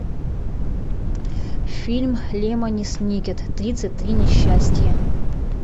фильм лемони сникет тридцать три несчастья